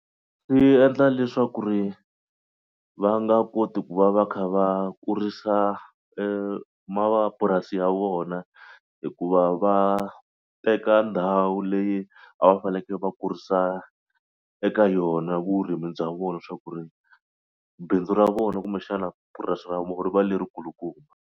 Swi endla leswaku ri va nga koti ku va va kha va kurisa mapurasi ya vona hikuva va teka ndhawu leyi a va fanekele va kurisa eka yona vurimi bya vona swa ku ri bindzu ra vona kumbexana purasi ra vona ri va leri kulukumba.